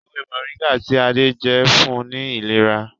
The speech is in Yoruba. ewé Moringa tí Ade njé fún ní ìlera.